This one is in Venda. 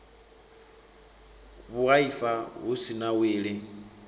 vhuaifa hu si na wili